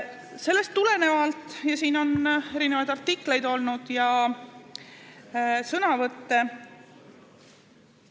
Selle kohta on ilmunud ka artikleid ja olnud sõnavõtte.